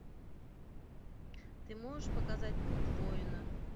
ты можешь показать путь воина